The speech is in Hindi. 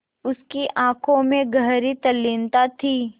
उसकी आँखों में गहरी तल्लीनता थी